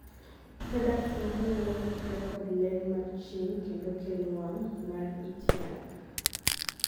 products moko nyalo kikre kod ler mar chieng kendo kelo wang' mar it yath